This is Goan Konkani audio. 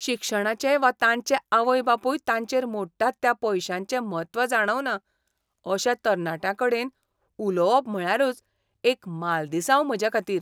शिक्षणाचें वा तांचे आवय बापूय तांचेर मोडटात त्या पयशांचें म्हत्व जाणवना अशा तरणाट्यांकडेन उलोवप म्हळ्यारच एक मालदिसांव म्हजेखातीर.